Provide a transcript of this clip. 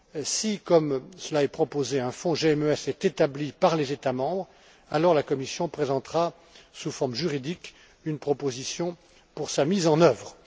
Si, comme cela est proposé, un fonds GMES est établi par les États membres, alors la Commission présentera, sous forme juridique, une proposition pour sa mise en œuvre.